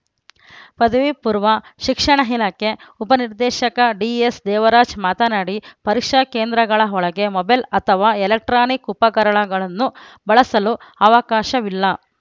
ಪದವಿಪೂರ್ವ ಶಿಕ್ಷಣ ಹಿಣಕ್ಕೆ ಉಪನಿರ್ದೇಶಕ ಡಿಎಸ್‌ ದೇವರಾಜ್‌ ಮಾತನಾಡಿ ಪರೀಕ್ಷಾ ಕೇಂದ್ರಗಳ ಒಳಗೆ ಮೊಬೈಲ್‌ ಅಥವಾ ಎಲೆಕ್ಟ್ರಾನಿಕ್‌ ಉಪಕರಣಗಳನ್ನು ಬಳಸಲು ಅವಕಾಶವಿಲ್ಲ